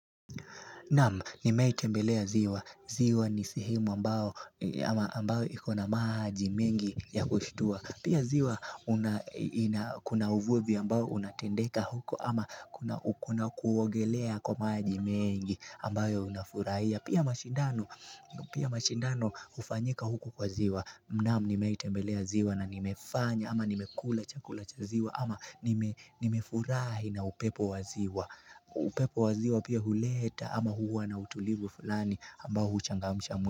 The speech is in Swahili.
Naam, nimeai tembelea ziwa. Ziwa ni sehemu ambao, ambao ikona maji mengi ya kushitua. Pia ziwa, una ina kuna uvuvi ambao unatendeka huko ama kuna kuna kuogelea kwa maji mengi ambayo unafurahia. Pia mashindano, pia mashindano hufanyika huku kwa ziwa. Naam, nimeiwahi tembelea ziwa na nimefanya ama nimekula chakula cha ziwa ama nime nimefurahi na upepo waziwa. Upepo wa ziwa pia huleta ama huwa na utulivu fulani ambao huchangamisha mwi.